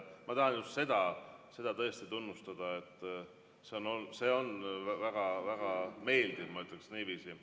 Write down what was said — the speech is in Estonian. Ma tahan seda tõesti tunnustada, see on väga-väga meeldiv, ma ütleksin niiviisi.